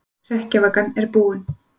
Hrekkjavakan er búin